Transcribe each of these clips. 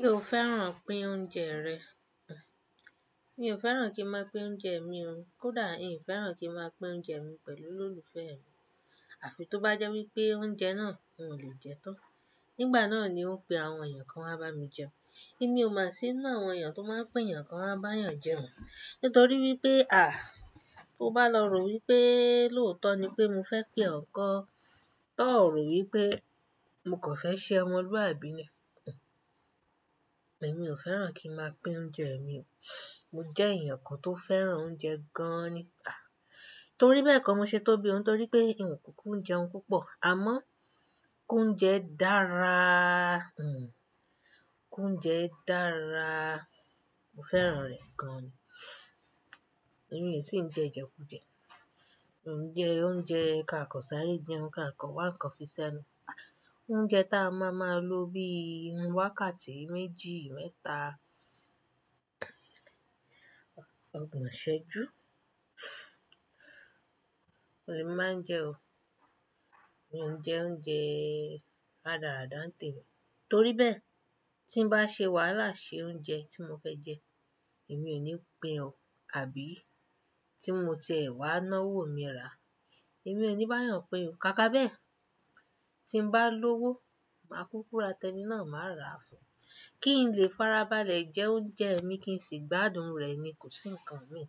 Ṣé o fẹ́ràn pín oúnjẹ rẹ? Mi ò fẹ́ràn kí n máa pín oúnjẹ mi o. Kódà hiń fẹ́ràn kí n máa pín oúnjẹ mi pẹ̀lú olólùfẹ́ mi. Àfi tó bá jẹ́ wípé oúnjẹ náà n ò lè jẹ́ tán. Nígbà náà ni ng ó pe àwọn èèyàn kan wá bá mi jẹun. Èmi ò mọ̀ sí ninú àwọn èèyàn tó máa ń pe èèyàn kan wá bá èèyàn jẹun. Nítorí wípé à, tó bá lọ rò wípé lóòótọ́ ni pé mo fẹ́ pè ọ̀ nkọ́, tòò ro wípé mo kàn fẹ́ ṣẹ ọmọlúwàbí ni. Èmi ò fẹ́ràn kí n máa pín oúnjẹ mi o. Mo jẹ́ èèyàn kan tó fẹ́ràn oúnjẹ gan-an ni. À! Torí bẹ́ẹ̀ kọ́ mo ṣe tóbi o. Nítorí pé ì ń kúku n jẹum púpọ̀. Àmọ́ kí oúnjẹ dáraa hihh, ki oúnjẹ dáraa. Mo fẹ́ràn rẹ̀ gan-an ni. Èmi e sì ń jẹ Ìjẹ̀kújẹ. Hiń ńjẹ́ oúnjẹ ká kan sáré jẹun ká kan, wá ń kan fi ṣenu. Oúnjẹ ta a máa máa lo bí i wákàtí méjì, mẹ́ta, ọgbọ̀n ìsẹ́jú. Òun lèmí máa ń jẹ o. Mi ò ń jẹ oúnjẹ rádàráda ńtèmi. Torí bẹ́ẹ̀ tí ń bá ṣe wàhálà ṣe oúnjẹ tí mo fẹ́ jẹ, èmi ò ní pín ọ́. Àbí tí mo tiẹ̀ wá náwó mi rà, èmi ò ní bá èèyàn pín òun. Kàkà bẹ́ẹ̀, tí ń bá lówó, màá kúkú ra tẹni náà, màá rà á fún. Kí n lè farabalẹ̀ jẹ oúnjẹ mi kí n sì gbádùn rẹ̀ ni kò sí ǹkan mi.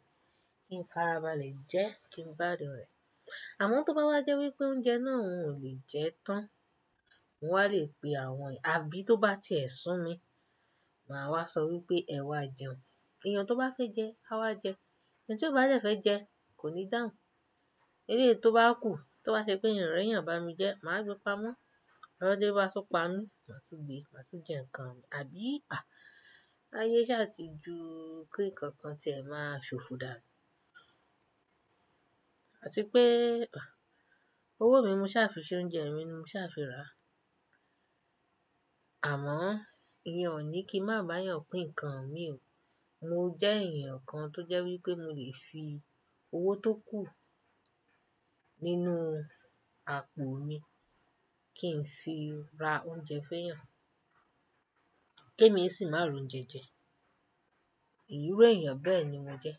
Kí n farabalẹ̀ jẹ́, kí n gbádùn rẹ̀. Àmọ́ tó bá wá jẹ́ wípé oúnjẹ náà n ò lè jẹ́ tán, mo wá lè pe àwọn èèyàn. Àbí tó bá ti ẹ̀ sún mi, màá wá sọ wípé ẹ wá jẹun. Èèyàn tó bá fẹ́ jẹ á wá jẹ. Ẹni tí ó bá jẹ́ fẹ́ jẹ, kò ní dàhùn. Eléyìí tó bá kù, tó bá ṣe pé hiń ri èèyàn bá mi jẹ́, màá gbe pamọ́. Lọdẹ bá tún pa mí, màá tún gbé, màá tún jẹ ǹkan mi, àbí? À! Ayé ṣà ti ju kí ǹkan tí ẹ máa ṣòfò dànù. Àti pé à, owó mi mo ṣà fi ṣe oúnjẹ mi ni mo ṣà fi ra. Àmọ́ ìyẹn ò ní kí ń má bá èèyàn pín ǹkan mi o. Mo jẹ́ èèyàn kan tó jẹ́ wípé mo lè fi owó tó kù nínú àpò mi kí n fi ra oúnjẹ fún èèyàn. Kí èmi sì má r'ouńjẹ jẹ. Ìrú èèyàn bẹ́ẹ̀ ni mo jẹ́.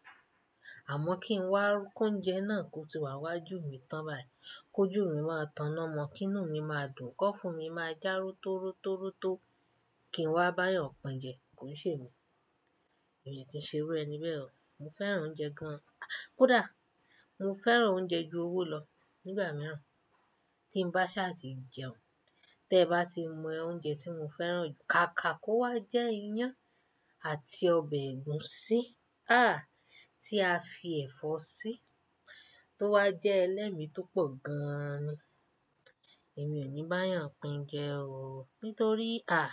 Àmọ́ kí n wá kí oúnjẹ náà kó ti wá nwájú mi tán bayi. Kó jù mí máa táná mọ́, kí inú mi máa dùn, kọ́ fún mi máa já ró tó ró tó ró tó kí n wá bá èèyàn pin jẹ, kò nṣe èmi. Èmi kì í ṣe irú ẹni bẹ́ẹ̀ o. Mo fẹ́ràn oúnjẹ gan-an. Kódà mo fẹ́ràn oúnjẹ ju owó lọ nígbà mìíràn tí ń bá ṣà ti jẹun. Tẹ bá ti mọ oúnjẹ tí mo fẹ́ràn, kàkà kó wá jẹ́ iyán àti ọbẹ̀ ẹ̀gúsí, ah! Tí a fi ẹ̀fọ́ sí, tó wá jẹ́ ẹlẹ́mi tó pọ̀ gan-an ni. Èmi ò ní bá èèyàn pín jẹ o. Nítorí àh,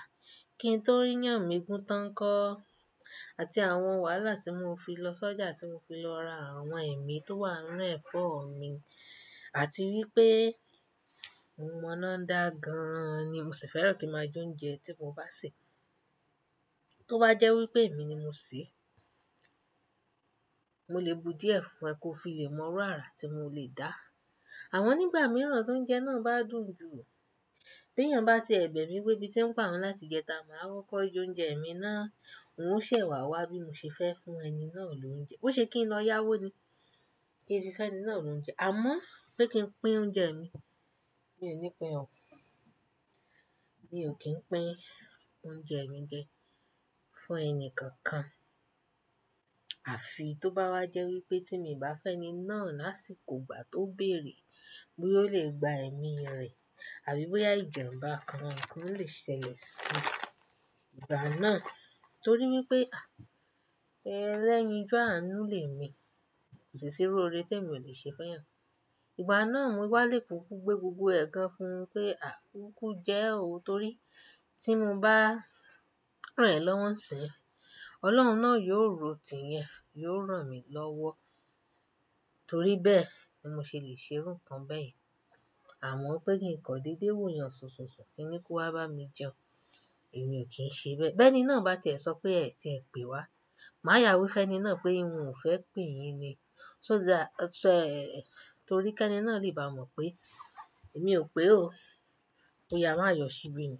kí n tó rí iyán mi gún tán ńkọ́? Àti àwọn wàhálà tí mo fi lọ sọ́jà, tí mo fi lọ ra àwọn ẹ̀mí tó wà nínú ẹ̀fọ́ mi, àti wípé mo mọ́ná dá gan-an ni. Mo sì fẹ́ràn kí n máa jẹ oúnjẹ tí mo bá sè. Tó bá jẹ́ wípé èmi ni mo sè é, mo lè bu díẹ̀ fún ẹ kó fi lè mọrú àrà tí mo lè dá. Àmọ́ nígbà mìíràn tó ń jẹ náà bá dùn jù, bí èèyàn bá tiẹ bẹ̀ mi pé ebí ti ń pa'òun láti jẹta, màá kókó jẹ oúnjẹ mi náà, un ó ṣẹ̀ wá wá bí mo ṣe fẹ́ fún ẹni náà lò ń jẹ. Bó ṣe kí n lọ yáwó ni kí n fi fẹún ẹni náà l'òuńjẹ. Àmọ́ pé kí n pín oúnjẹ mi, mi ò ní pín ọ́. Mi ò kí ń pín oúnjẹ mi jẹ fún ẹni kankan. Àfi tó bá wá jẹ́ wípé tí mi o bá fẹún ẹni náà lásìkò ìgbà tó bèèrè bóyá ó lè gba ẹ̀mí rẹ̀ àbí bóyá ìjàǹbá kan kan lè ṣẹlẹ̀ sí ìgbà náà. Nítorí wípé àh, ẹlẹ́yin ju àánú lè mi. Kò sì sí irú oore tí èmi ò lè ṣe fún èèyàn. Ìgbà náà mo wá lè kúkú gbé gbogbo ẹ̀ gan fún un pé à, kúkú jẹ o. Nítorí tí mo bá ràn ẹ̀ lọ́wọ́ ń ṣìń, Ọlọ́run náà yóò rò tì ìyen, yóò ràn mí lọ́wọ́. Torí bẹ́ẹ̀ ni mo ṣe lè ṣerú nkán bẹ́yẹ̀n. Àmọ́ pé kí ǹkan dédé wù yàn ṣùnsùnsùn kí n ni kó wá bá mi jẹun, èmi ò kí ń ṣe bẹ́ẹ̀. Bẹ́ẹ́ni náà bá tẹ̀ ẹ sọ pé ẹ̀ ti ń pè wá, màá yà wí fún ẹni náà pé ng ò fẹ́ pè yín ni. So that-- ẹ̀, torí kẹ́ní náà lè bá mọ̀ pé èmi ò pèé o. Kó yáa màá yọ síbí ni.